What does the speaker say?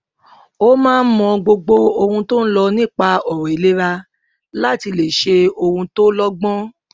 ó máa ń mọ gbogbo ohun tó ń lọ nípa ọrọ ìlera láti lè ṣe ohun tó lọgbọn